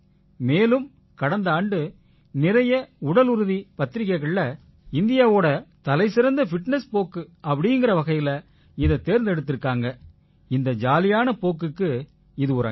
மேலும் கடந்த ஆண்டு நிறைய உடலுறுதி பத்திரிக்கைகள்ல இந்தியாவோட தலைசிறந்த ஃபிட்னஸ் போக்கு அப்படீங்கற வகையில இதைத் தேர்ந்தெடுத்திருக்காங்க இந்த ஜாலியான போக்குக்கு இது ஒரு அங்கீகாரம்